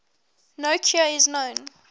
no cure is known